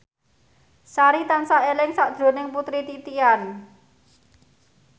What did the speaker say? Sari tansah eling sakjroning Putri Titian